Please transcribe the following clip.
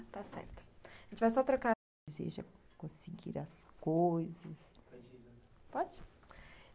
Está certo. A gente vai só trocar Conseguir as coisas... Pode?